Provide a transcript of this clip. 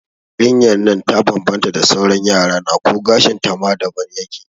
Yarinyan nan ta bambanta da sauran Yarana ko gashin ta ma daban yake